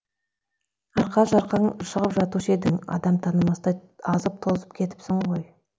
арқа жарқаң шығып жатушы едің адам танымастай азып тозып кетіпсің ғой